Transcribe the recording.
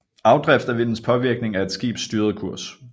Afdrift er vindens påvirkning af et skibs styrede kurs